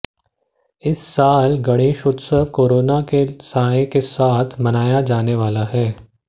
इस साल गणेशोत्सव कोरोना के साए के साथ मनाया जाने वाला है